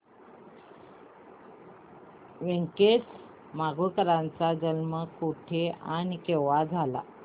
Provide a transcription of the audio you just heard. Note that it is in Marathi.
व्यंकटेश माडगूळकर यांचा जन्म कुठे आणि केव्हा झाला